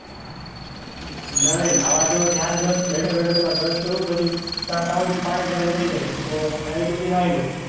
નાં ત્યાં નવા જાઉં ત્યાં બેઠો બેઠો brush કરું પછી ત્યાં સુધી માં પાણી ગરમ થઇ જાય તો direct નાલી લઉં.